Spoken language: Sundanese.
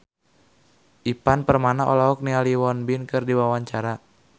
Ivan Permana olohok ningali Won Bin keur diwawancara